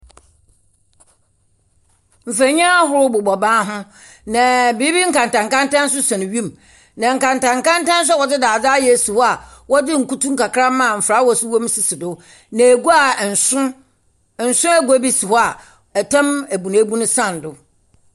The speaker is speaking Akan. Mfonin ahorow bobɔ ban ho, na biribi nkantankanta nso sɛn wim, na nkantankanta nso a wɔdze dadze ayɛ si hɔ a wɔdze nkutu nkakramma a mfelawɛs wom sisi do, na egua a nson nson egua bi si hɔ a tam ebunebun san do.